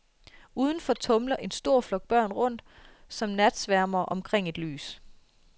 Udenfor tumler en stor flok børn rundt, som natsværmere omkring et lys.